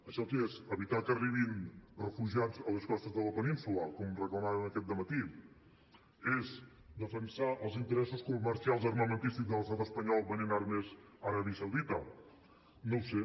això què és evitar que arribin refugiats a les costes de la península com reclamaven aquest dematí és defensar els interessos comercials armamentistes de l’estat espanyol venent armes a aràbia saudita no ho sé